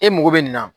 E mago bɛ nin na